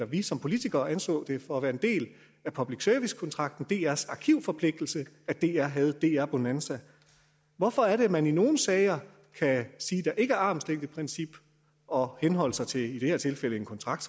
vi som politikere anså det for at være en del af public servicekontrakten om drs arkivforpligtelse at dr havde dr bonanza hvorfor er det at man i nogle sager kan sige at der ikke er armslængdeprincip og henholde sig til i det her tilfælde en kontrakt